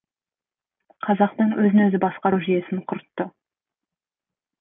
қазақтың өзін өзі басқару жүйесін құртты